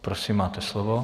Prosím, máte slovo.